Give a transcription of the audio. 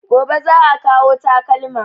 Gobe za a kawo takalma